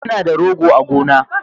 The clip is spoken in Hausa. Muna da rogo a gona